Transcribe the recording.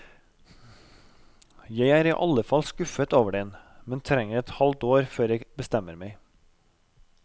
Jeg er i alle fall skuffet over den, men trenger et halvt år før jeg bestemmer meg.